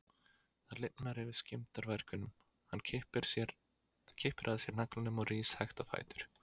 Það lifnar yfir skemmdarvargnum, hann kippir að sér naglanum og rís hægt á fætur.